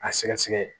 A sɛgɛsɛgɛ